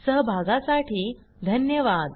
सहभागासाठी धन्यवाद